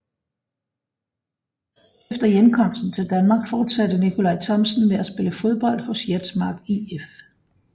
Efter hjemkomsten til Danmark forsatte Nickolaj Thomsen med at spille fodbold hos Jetsmark IF